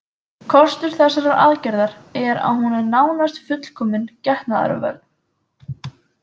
Kostur þessarar aðgerðar er að hún er nánast fullkomin getnaðarvörn.